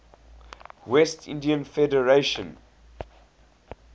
west indies federation